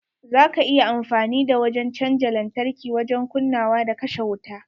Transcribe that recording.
Za ka iya amfani da wajen canja lantarki wajen kunnawa da kashe wuta.